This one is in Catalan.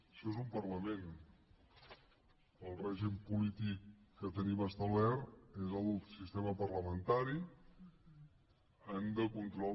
això és un parlament el règim polític que tenim establert és el sistema parlamentari de control